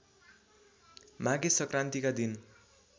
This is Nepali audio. माघे संक्रान्तिका दिन